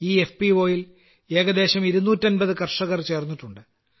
ഈ F P O യിൽ ഏകദേശം 250 കർഷകർ ചേർന്നിട്ടുണ്ട്